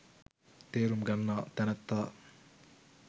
තේරුම් ගන්නා තැනැත්තා